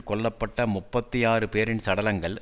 கொல்ல பட்ட முப்பத்தி ஆறு பேரின் சடலங்கள்